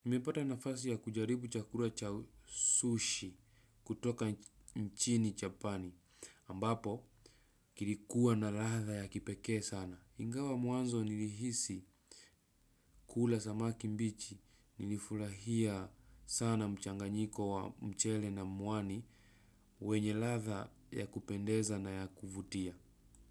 Mepata nafasi ya kujaribu chakura cha sushi kutoka mchini chapani ambapo kilikuwa na latha ya kipeke sana. Ingawa mwanzo nilihisi kula samaki mbichi nilifurahia sana mchanganyiko wa mchele na mwani mwenye kadha ya kupendeza na kuvutia.